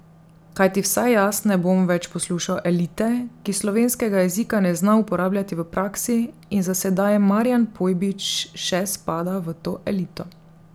Kajti vsaj jaz ne bom več poslušal elite, ki slovenskega jezika ne zna uporabljati v praksi in za sedaj Marijan Pojbič še spada v to elito.